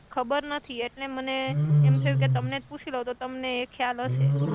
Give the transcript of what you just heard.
ખબર નથિ એટલે મને એમ થયુ કે તમને જ પુસી લવ તો તમને એ ખ્યાલ હસે.